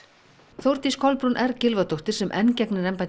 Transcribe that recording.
Þórdís Kolbrún r Gylfadóttir sem enn gegnir embætti